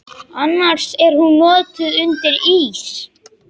Annars er hún notuð undir ís.